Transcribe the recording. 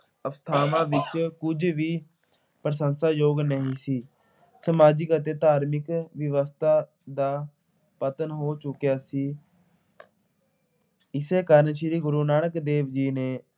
ਅਵਸਥਾਵਾਂ ਵਿੱਚ ਕੁਝ ਵੀ ਪ੍ਰਸ਼ੰਸ਼ਾਯੋਗ ਨਹੀਂ ਸੀ। ਸਮਾਜਿਕ ਅਤੇ ਧਾਰਮਿਕ ਵਿਵਸਥਾ ਦਾ ਪਤਨ ਹੋ ਚੁੱਕਿਆ ਸੀ। ਇਸੇ ਕਾਰਨ ਸ੍ਰੀ ਗੁਰੂ ਨਾਨਕ ਦੇਵ ਜੀ ਨੇ